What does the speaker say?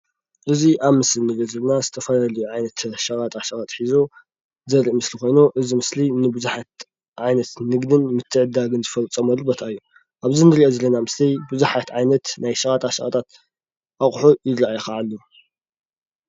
እዚ ኣብ ምስሊ ዝኒአ ድማ ዝተፈላለየ ዓይነት ሸቀጣ ሸቀጥ ሒዙ ዘርኢ ምስሊ ኾይኑ እዚ ምስሊ ንብዙሓት ዓይነት ንግድን ምትዕድዳገን ዝፈፀሙሉ ቦታ እዩ ። ኣብዚ እንርእዮ ዘለና ምስሊ ብዙሓት ዓይነት ናይ ሸቀጣ ሸቀጥት ኣቁሑ ይረኣይ ኸዓ አሎ ።